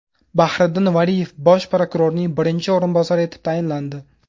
Bahriddin Valiyev bosh prokurorning birinchi o‘rinbosari etib tayinlandi.